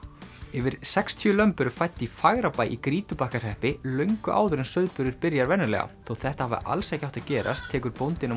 yfir sextíu lömb eru fædd í Fagrabæ í Grýtubakkahreppi löngu áður en sauðburður byrjar venjulega þótt þetta hafi alls ekki átt að gerast tekur bóndinn á